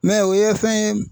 o ye fɛn ye